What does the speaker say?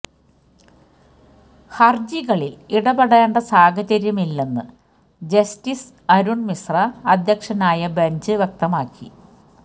ഹര്ജികളില് ഇടപെടേണ്ട സാഹചര്യമില്ലെന്ന് ജസ്റ്റിസ് അരുണ് മിശ്ര അധ്യക്ഷനായ ബഞ്ച് വ്യക്തമാക്കി